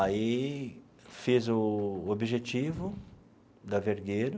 Aí, fiz o Objetivo da Vergueiro.